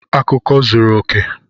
Akụkọ zuru oke!